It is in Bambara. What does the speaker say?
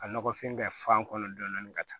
Ka nɔgɔfin kɛ fan kɔnɔ dɔɔnin ka taa